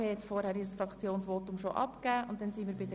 So ist das Abstimmungsvorgehen dann auch für sie klar.